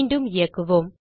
மீண்டும் இயக்குவோம்